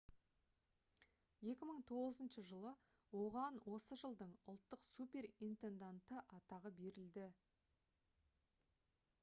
2009 жылы оған осы жылдың ұлттық суперинтенданты атағы берілді